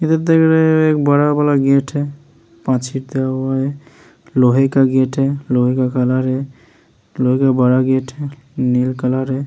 इधर देख रहे हैं एक बड़ा-बड़ा गेट हैं। लोहे का गेट हैं लोहे का हैं। लोहे का बड़ा गेट हैं। नील कलर हैं।